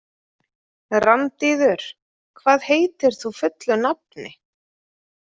Randíður, hvað heitir þú fullu nafni?